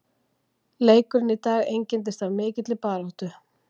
Leikurinn í dag einkenndist af mikilli baráttu.